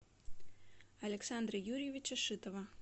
александра юрьевича шитова